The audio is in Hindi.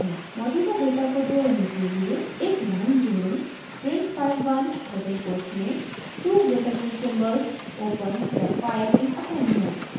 मौजूदा डेटा को जोड़ने के लिए एक लाइन जोड़ें: print file1 डबल कोट्स में two greater than symbols >> opens the file in append mode